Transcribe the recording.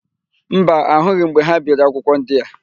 Mba, ahụghị m mgbe ha biri akwụkwọ ndị a.